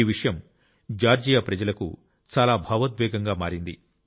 ఈ విషయం జార్జియా ప్రజలకు చాలా భావోద్వేగంగా మారింది